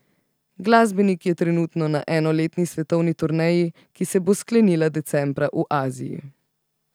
Glasbenik je trenutno na enoletni svetovni turneji, ki se bo sklenila decembra v Aziji.